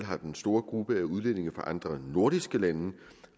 har den store gruppe af udlændinge fra andre nordiske lande